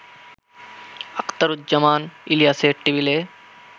আখতারুজ্জামান ইলিয়াসের টেবিলে